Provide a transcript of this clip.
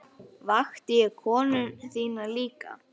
Vakti ég konu þína líka?